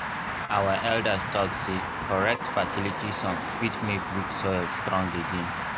our elders talk say correct fertility song fit make weak soil strong again.